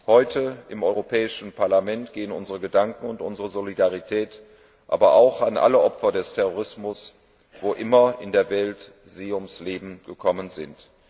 Heute im Europäischen Parlament gelten unsere Gedanken und unsere Solidarität allen Opfern des Terrorismus, wo immer in der Welt sie ums Leben gekommen sind.